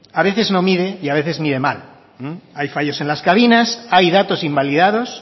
a veces no mide y a veces mide mal hay fallos en las cabinas hay datos invalidados